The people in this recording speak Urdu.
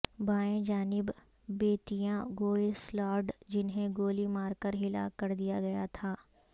بائیں جانب بیتیاں گویسلارڈ جنہیں گولی مار کر ہلاک کر دیا گیا تھا